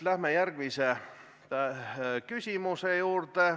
Läheme järgmise küsimuse juurde.